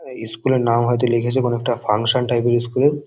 আ school -এর নাম হয়তো লিখেছে কোনো একটা ফাংশান টাইপ -এর ইস্কুল ।